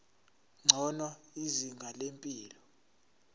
ngcono izinga lempilo